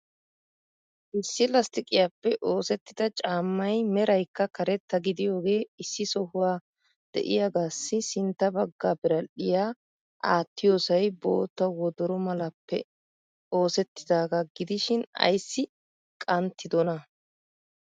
issi lasttiqiyappe oosettida caammay meraykka karetta gidiyooge issi sohuwa de'iyaagassi sintta bagga biradhdhiya aattiyoosay bootta wodoro malappe oosettidaaga gidishin ayssi qanttidona?